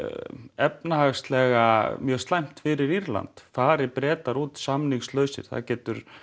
efnahagslega mjög slæmt fyrir Írland fari Bretar út samningslausir það getur